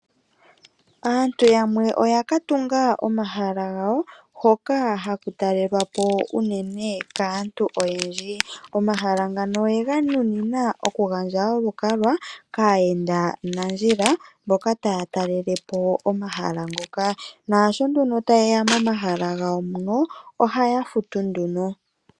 Aantu yamwe oya katunga omahala gawo hoka haku talelwapo uunene kaantu oyendji. Omahala ngano oye ganunina oku gandja olukalwa kayenda nandjila mboka taya talelepo omahala ngoka, nasho nduno ta yeya momahala ngawo muno ohaya futu nduno.